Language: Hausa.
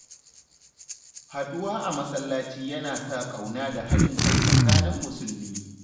Haɗuwa a masallaci yana sa ƙauna da haɗin kai tsakanin Musulmi.